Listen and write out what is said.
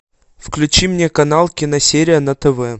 включи мне канал киносерия на тв